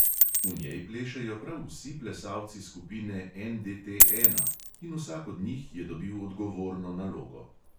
V njej plešejo prav vsi plesalci skupine NDT ena in vsak od njih je dobil odgovorno nalogo.